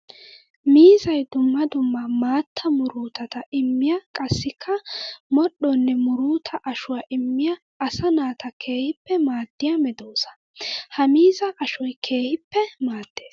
Miizzay dumma dumma maatta muruttata immiya qassikka modhdhonne murutta ashuwa immiya asaa naata keehippe maadiya medosa. Ha miizza ashoy keehippe maades.